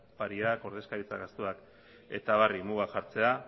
opariak ordezkaritza gastuak eta abarri muga jartzea